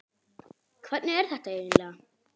Hvernig er þetta eiginlega?